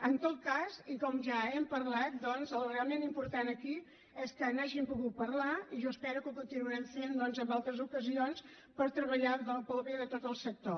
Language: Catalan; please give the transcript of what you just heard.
en tot cas i com ja hem parlat doncs el realment important aquí és que n’hàgim pogut parlar i jo espero que ho continuarem fent en altres ocasions per treballar pel bé de tot el sector